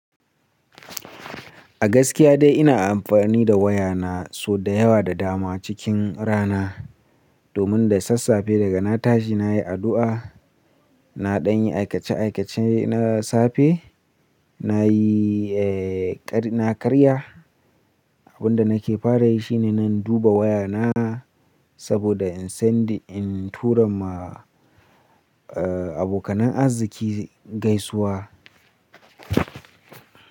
A gaskiya dai ina amfani da waya na sau da yawa da dama cikin rana domin da sassafe daga na tashi nayi addu'a, na danyi aikace-aikace na safe, nayi kari na karya. Abin da nake fara yi shi ne nan duba waya na saboda in sending, in tura ma abokanin arziki gaisuwa.